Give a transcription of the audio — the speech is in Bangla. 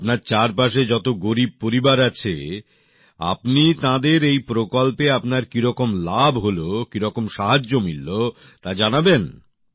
আপনার চারপাশে যত গরীব পরিবার আছে আপনি তাঁদের এই প্রকল্পে আপনার কীরকম লাভ হল কীরকম সাহায্য মিলল তা জানাবেন